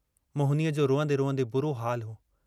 मोहिनीअ जो रुअन्दे रुअन्दे बुरो हालु हो।